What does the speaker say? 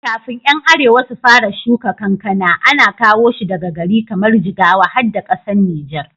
Kafin 'yan arewa su fara shuka kankana, ana kowa shi daga gari kamar jigawa har da ƙasar Nijar